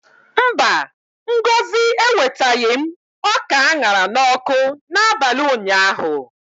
Mba, Ngozi ewetaghị m ọka a ṅara n'ọkụ n'abalị ụnyaahụ.